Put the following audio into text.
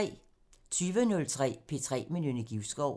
23:03: P3 med Nynne Givskov